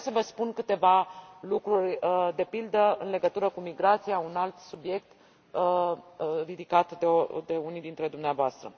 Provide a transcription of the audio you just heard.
Aș vrea să vă spun câteva lucruri, de pildă, în legătură cu migrația, un alt subiect, ridicat de unii dintre dumneavoastră.